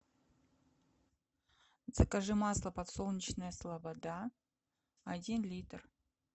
закажи масло подсолнечное слобода один литр